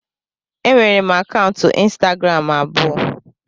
Enwere m akaụntụ ịnstagram abụọ